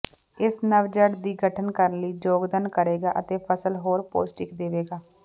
ਇਸ ਨਵ ਜੜ੍ਹ ਦੀ ਗਠਨ ਕਰਨ ਲਈ ਯੋਗਦਾਨ ਕਰੇਗਾ ਅਤੇ ਫਸਲ ਹੋਰ ਪੌਸ਼ਟਿਕ ਦੇਵੇਗਾ